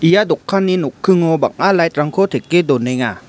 ia dokanni nokkingo bang·a light-rangko teke donenga.